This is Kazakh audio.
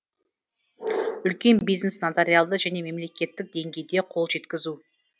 үлкен бизнес нотариалды және мемлекеттік деңгейде қол жеткізу